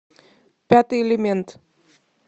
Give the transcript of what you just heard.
пятый элемент